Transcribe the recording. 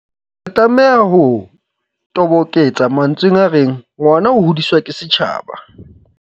Re tlameha ho toboketsa mantsweng a reng "ngwana o hodiswa ke setjhaba".